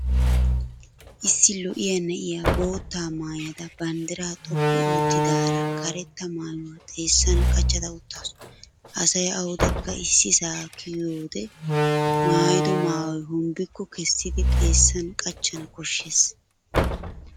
Issi lo'iyaa na'iya boottaa maayada banddiraa xoqqu ottidaara karetta maayuwa xeessan qachcha uttaasu. Asay awudekka isiisaa kiyiyode maayido maayoy hombbikko kessiddi xeessan qachchana koshes.